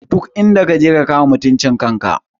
Duk inda kaje ka kama mutuncin kan ka!